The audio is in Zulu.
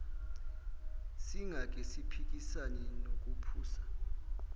singake siphikisane nokuphusa